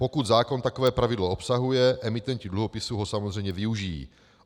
Pokud zákon takové pravidlo obsahuje, emitenti dluhopisů ho samozřejmě využijí.